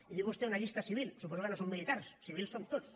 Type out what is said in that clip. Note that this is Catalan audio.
i diu vostè una llista civil suposo que no som militars civils som tots